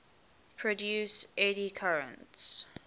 produce eddy currents